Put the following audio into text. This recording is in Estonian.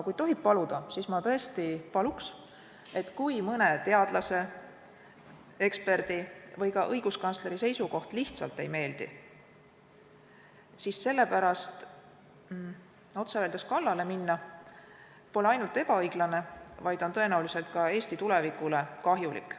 Kui tohib, siis ma tõesti paluks, et kui mõne teadlase, eksperdi või ka õiguskantsleri seisukoht lihtsalt ei meeldi, siis selle pärast neile kallale minna pole ainult ebaõiglane, vaid on tõenäoliselt ka Eesti tulevikule kahjulik.